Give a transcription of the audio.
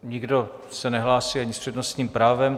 Nikdo se nehlásí ani s přednostním právem.